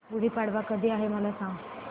गुढी पाडवा कधी आहे मला सांग